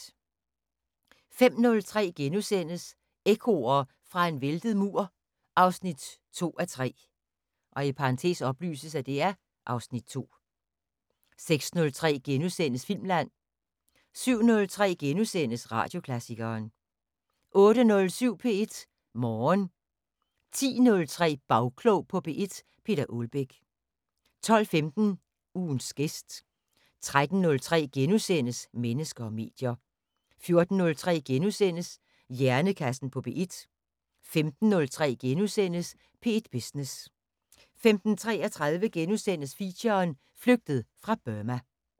05:03: Ekkoer fra en væltet mur 2:3 (Afs. 2)* 06:03: Filmland * 07:03: Radioklassikeren * 08:07: P1 Morgen 10:03: Bagklog på P1: Peter Ålbæk 12:15: Ugens gæst 13:03: Mennesker og medier * 14:03: Hjernekassen på P1 * 15:03: P1 Business * 15:33: Feature: Flygtet fra Burma *